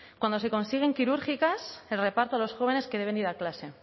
cuando se consiguen quirúrgicas se reparte a los jóvenes que deben ir a clase